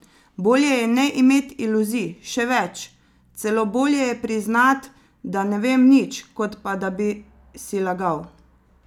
Bolje je ne imet iluzij, še več, celo bolje je priznat, da ne vem nič, kot pa da bi si lagal.